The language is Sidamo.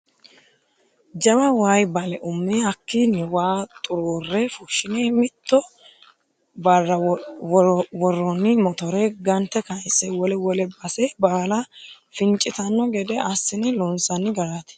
Jawa waayi bale ume hakkini waa xurure fushine mitto barra woronni mottore gante kayise wole wole base baalla fincittano gede assine loonsanni garati.